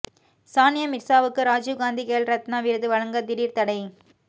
சானியா மிர்சாவுக்கு ராஜீவ் காந்தி கேல் ரத்னா விருது வழங்க திடீர் தடை